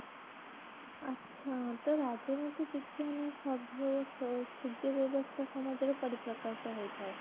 ଆଛା ତ ରାଜନୀତି ବିଜ୍ଞାନ ସଭ୍ଯ ଓ ଶୁଦ୍ୟ ବ୍ୟବସ୍ତା ସମାଜରେ ପରିପ୍ରକାଶ ହୋଇଥାଏ